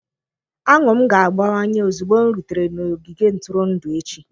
Añụ m ga-abawanye ozugbo m rutere n'ogige ntụrụndụ echi.